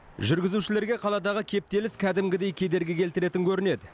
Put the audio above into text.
жүргізушілерге қаладағы кептеліс кәдімгідей кедергі келтіретін көрінеді